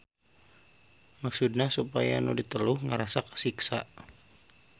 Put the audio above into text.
Maksudna supaya nu diteluh ngarasa kasiksa.